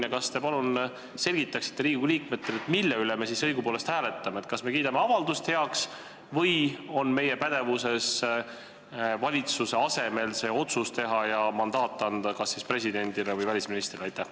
Kas te palun selgitaksite meile, Riigikogu liikmetele, mille üle me õigupoolest hääletame – kas me kiidame heaks avalduse või on meie pädevuses teha valitsuse asemel see otsus ja anda mandaat kas presidendile või välisministrile?